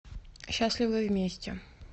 счастливы вместе